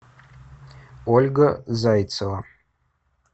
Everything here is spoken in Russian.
ольга зайцева